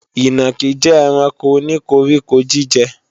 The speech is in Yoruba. Ìnàkí jẹ́ ẹranko o ní koríko-jíjẹ